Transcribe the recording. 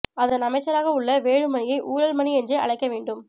அதன் அமைச்சராக உள்ள வேலுமணியை ஊழல் மணி என்றே அழைக்க வேண்டும்